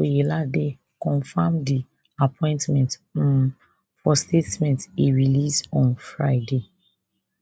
oyelade confam di appointment um for statement e release on friday